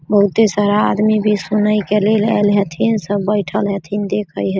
बहुते सारा आदमी भी सुने के लेल आएल हथीन सब बैठल हथीन देखे --